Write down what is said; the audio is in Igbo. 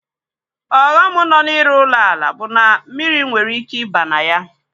Ọghọm nọ na-ịrụ ụlọ ala bụ na mmiri nwere ike ịba na ya.